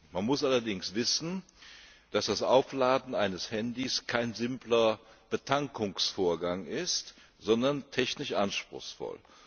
Man muss allerdings wissen, dass das Aufladen eines Handys kein simpler Betankungsvorgang ist, sondern technisch anspruchsvoll.